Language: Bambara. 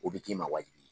O bɛ k'i ma wajibi ye